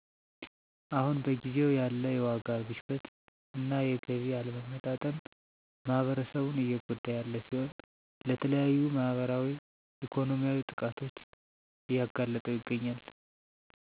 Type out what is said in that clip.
አሁን በጊዜው ያለ የዋጋ ግሽበት እና የገቢ አለመመጣጠን ማህበረሰቡን እየጎዳ ያለ ሲሆን ለተለያዩ ማህበራዊ ኢኮኖሚያዊ ጥቃቶች እያጋለጠው ይገኛል።